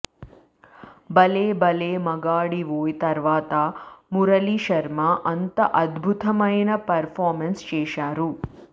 భలే భలే మగాడివోయ్ తర్వాత మురళీ శర్మ అంత అద్భుతమైన పెర్ ఫార్మెన్స్ చేశారు